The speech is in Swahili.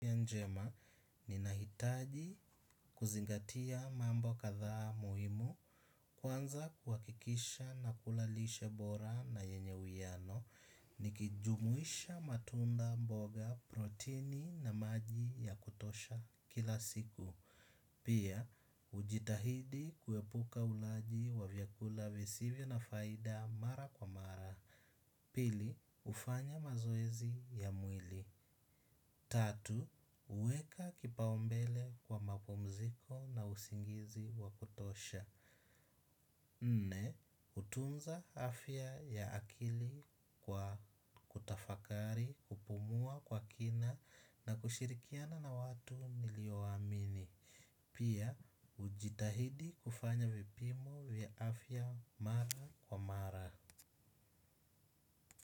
Njema, ninahitaji kuzingatia mambo kadhaa muhimu, kwanza kuhakikisha nakula lishe bora na yenye uwiano, nikijumuisha matunda, mboga, protini na maji ya kutosha kila siku. Pia, hujitahidi kuepuka ulaji wa vyakula visivyo na faida mara kwa mara. Pili, hufanya mazoezi ya mwili. Tatu, huweka kipaumbele kwa mapumziko na usingizi wa kutosha. Nne, hutunza afya ya akili kwa kutafakari, kupumua kwa kina na kushirikiana na watu nilioamini. Pia, hujitahidi kufanya vipimo vya afya mara kwa mara.